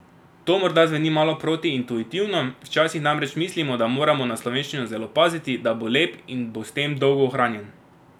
To morda zveni malo protiintuitivno, včasih namreč mislimo, da moramo na slovenščino zelo paziti, da bo lep in bo s tem dolgo ohranjen ...